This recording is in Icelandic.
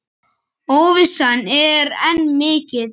Óvissan er enn mikil.